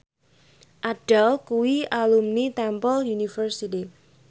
Adele kuwi alumni Temple University